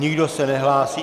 Nikdo se nehlásí.